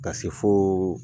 Ka se fo